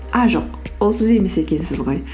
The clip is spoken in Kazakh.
а жоқ ол сіз емес екенсіз ғой